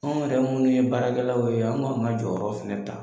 Anw yɛrɛ munnu ye baarakɛlaw ye ka jɔyɔrɔ fɛnɛ ta;